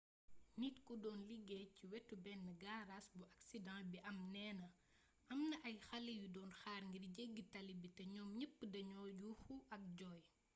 nit ku doon liggéeey ci wetu benn gaaraas bu aksiden bi am neena am na ay xale yu doon xaar ngir jeggi tali bi te ñoom ñeppa doon yóoxu ak joy